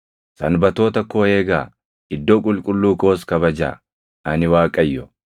“ ‘Sanbatoota koo eegaa; iddoo qulqulluu koos kabajaa. Ani Waaqayyo.